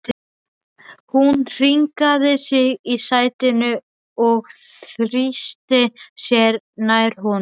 Hún hringaði sig í sætinu og þrýsti sér nær honum.